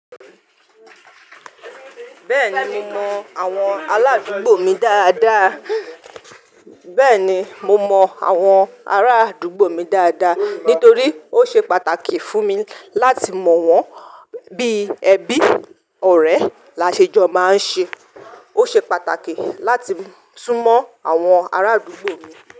Bẹ́ẹ̀ni, mo mọ àwọn aládùúgbò mi dáadáa. Bẹ́ẹ̀ni, mo mọ àwọn ará àdúgbò mi dáadáa nítorí ó ṣe pàtàkì fún mi láti mọ̀ wọ́n bí ẹbi ọ̀rẹ́ lásẹjọ máa ń ṣe. Ó ṣe pàtàkì láti sún mọ àwọn ará àdúgbò mi.